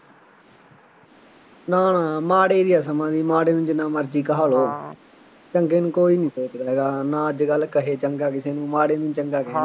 ਨਾ ਨਾ ਮਾੜ੍ਹੇ ਦੀ ਆ ਸਮਾ ਦੀ, ਮਾੜ੍ਹੇ ਨੂੰ ਜਿੰਨ੍ਹਾ ਮਰਜ਼ੀ ਕਹਾ ਲਉ, ਚੰਗੇ ਨੂੰ ਕੋਈ ਨਹੀਂ ਪੁੱਛਦਾ, ਨਾ ਅੱਜ ਕੱਲ੍ਹ ਕਹੇ ਚੰਗਾ ਕਿਸੇ ਨੂੰ, ਮਾੜ੍ਹੇ ਨੂੰ ਚੰਗਾ ਕਹਿੰਦੇ ਆ